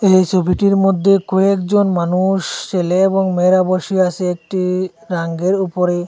এই সোবিটির মদ্যে কয়েকজন মানুষ ছেলে এবং মেয়েরা বসে আসে একটি রাঙ্গের উপরে।